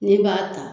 N'i b'a ta